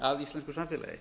að íslensku samfélagi